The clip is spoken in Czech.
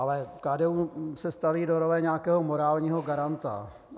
Ale KDU se staví do role nějakého morálního garanta.